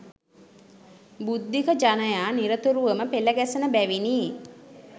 බුද්ධික ජනයා නිරතුරුවම පෙළගැසෙන බැවිනි